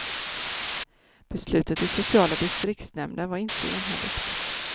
Beslutet i sociala distriktsnämnden var inte enhälligt.